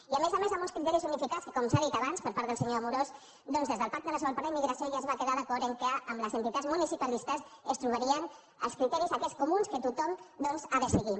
i a més a més amb uns criteris unificats que com s’ha dit abans per part del senyor amorós doncs des del pacte nacional per la immigració ja es va quedar d’acord que amb les enti·tats municipalistes es trobarien els criteris aquests co·muns que tothom doncs ha de seguir